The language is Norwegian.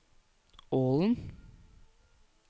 Ålen